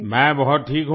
मैं बहुत ठीक हूँ